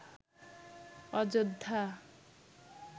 Ayodhya